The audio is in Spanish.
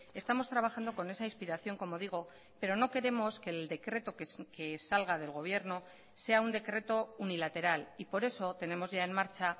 estamos trabajando con esa inspiración como digo pero no queremos que el decreto que salga del gobierno sea un decreto unilateral y por eso tenemos ya en marcha